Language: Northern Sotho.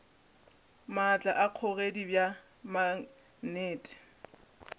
maatla a kgogedi bja maknete